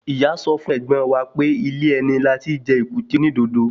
Ìyá sọ fún ẹ̀gbọ́n wa pé ilé ẹni láti jẹ èkúté onídodo